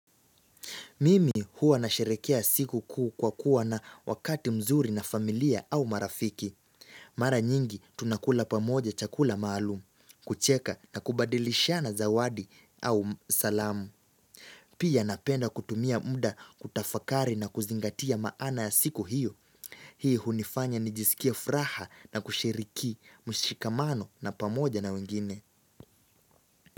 Mimi huwa na sherehekea siku kuu kwa kuwa na wakati mzuri na familia au marafiki. Mara nyingi tunakula pamoja chakula maalum, kucheka na kubadilishana zawadi au salamu. Pia napenda kutumia muda kutafakari na kuzingatia maana ya siku hiyo. Hii hunifanya nijisikie furaha na kushiriki mshikamano na pamoja na wengine.